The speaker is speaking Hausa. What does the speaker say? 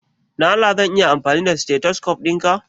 Don Allah zan iya amfani da stethoscope dinka?